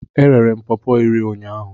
M rere pọọpo iri ụnyahụ.